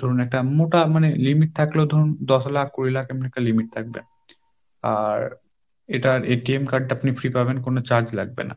ধরুন একটা মোটা মানে limit থাকলেও ধরুন দশ লাখ কুড়ি লাখ এমনি একটা limit থাকবে, আর এটার card টা আপনি free পাবেন কোন charge লাগবে না।